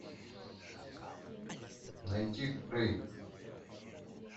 найти крейг